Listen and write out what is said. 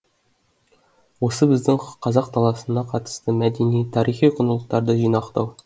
осы біздің қазақ даласына қатысты мәдени тарихи құндылықтарды жинақтау